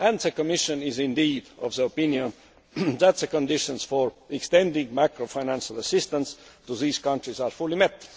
And the Commission is indeed of the opinion that the conditions for extending macro financial assistance to these countries are fully met.